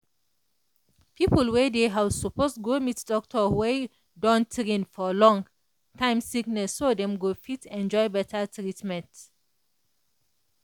people wey dey house suppose go meet doctor wey don train for long-time sickness so dem go fit enjoy better treatment.